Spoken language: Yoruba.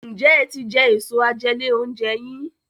Njé é tí jé Èso àjẹlé-oúnjẹ yín?